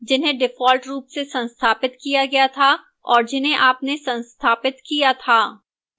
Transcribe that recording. जिन्हें default रूप से संस्थापित किया गया था और जिन्हें आपने संस्थापित किया था